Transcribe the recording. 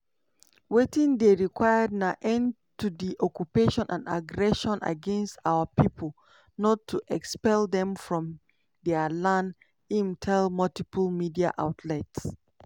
wetin dey required na end to di occupation and aggression against our pipo not to expel dem from dia land" im tell multiple media outlets.